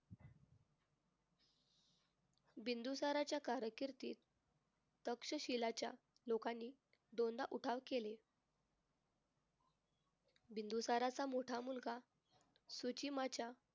बिंदुसाराच्या कारकिर्दीत तक्षशिलाच्या लोकांनी दोनदा उठाव केले. बिंदुसाराचा मोठा मुलगा सूचिमाच्या